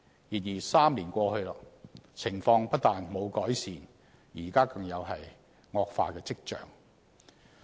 然而 ，3 年過去，情況不但沒有改善，現在更有惡化跡象。